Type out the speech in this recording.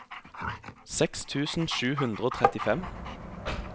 seks tusen sju hundre og trettifem